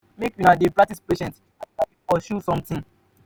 make una dey get patience as una dey pursue somtin.